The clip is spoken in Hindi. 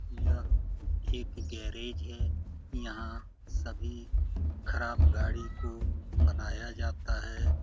यह एक गैरेज है। यहाँ सभी खराब गाड़ी को बनाया जाता है।